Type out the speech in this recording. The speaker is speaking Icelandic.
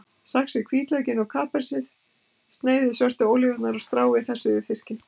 Saxið hvítlaukinn og kapersið, sneiðið svörtu ólívurnar og stráið þessu yfir fiskinn.